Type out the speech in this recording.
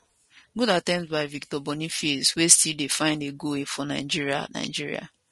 good attemptby victor boniface wey still dey find a goal for nigeria nigeria